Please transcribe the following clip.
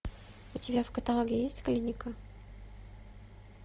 у тебя в каталоге есть клиника